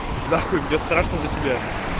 нахуй мне страшно за тебя